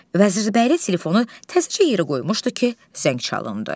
Vəzirbəyli telefonu təzəcə yerə qoymuşdu ki, zəng çalındı.